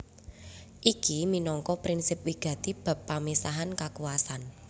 Iki minangka prinsip wigati bab pamisahan kakuwasan